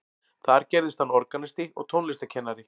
Þar gerðist hann organisti og tónlistarkennari.